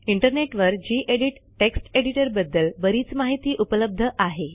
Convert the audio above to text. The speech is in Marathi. इंटरनेटवर जी एडिट टेक्स्ट एडिटरबद्दल बरीच माहिती उपलब्ध आहे